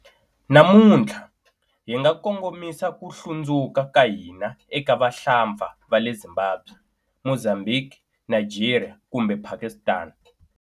Namuntlha, hi nga kongomisa ku hlundzuka ka hina eka vahlampfa va le Zimbabwe, Mozambique, Nigeria kumbe Pakistan.